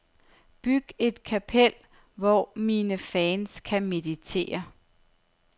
Byg et kapel, hvor mine fans kan meditere.